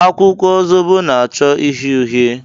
Akwụkwọ zobo na-achọ uhie uhie.